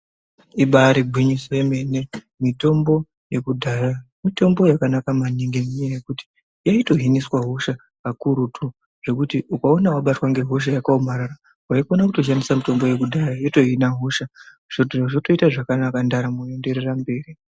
Imbari gwinyiso yomene mitombo yekudhaya , mitombo yakanaka maningi yenyaya yekut inotohiniswa hosha kakurutu zvekut ukaona wabatwa nehosha yakaomarara waikona kutoshandisa mitombo yekudhara yotohina hosha zvotoita zvakanaka ndaramo yotoendereraa mberi.